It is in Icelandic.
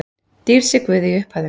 Dýrð sé Guði í upphæðum